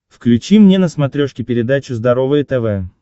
включи мне на смотрешке передачу здоровое тв